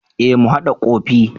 E mu hada kofi.